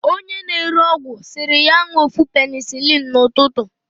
onye na-ere ọgwụ siri ya ńụọ ofu penicilin na ututu.